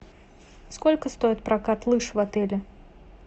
сколько стоит прокат лыж в отеле